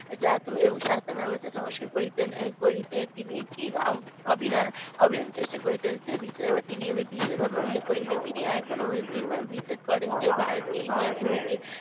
প্রশাসন এবং শাসনবাবস্থা সংস্কার করিতেন করিতে তিনি কি অবিরাম চেষ্টা করিতেন এইটা বিশেষভাবে তিনি উল্লেখ করিলেন তিনি এখনো বিশ্বাস করেন যে ভারতকে ইংল্যান্ড হইতে